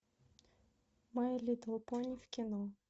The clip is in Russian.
май литл пони в кино